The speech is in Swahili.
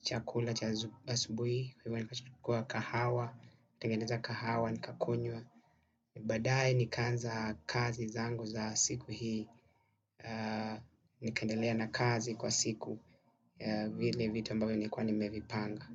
chakula cha asubuhi huiwa nikachukua kahawa, tengeneza kahawa nikakunyua. Badae ni kanza kazi zangu za siku hii. Ni kandelea na kazi kwa siku. Vilw vitu ambavyo nilikuwa nimevipanga.